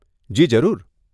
જી, જરૂર